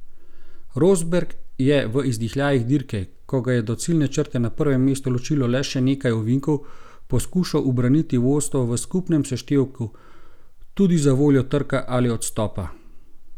Rosberg je v izdihljajih dirke, ko ga je do ciljne črte na prvem mestu ločilo le še nekaj ovinkov, poskušal ubraniti vodstvo v skupnem seštevku, tudi zavoljo trka ali odstopa.